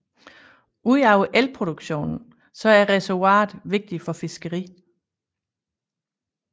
Ud over elproduktion er reservoiret vigtigt for fiskeri